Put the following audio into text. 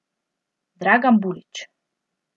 Dragan Bulič.